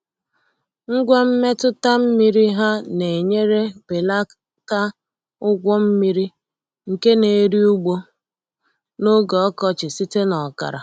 Ngwa mmetụta mmiri ha na-enyere belata ụgwọ mmiri nke na-eri ugbo n’oge ọkọchị site na ọkara.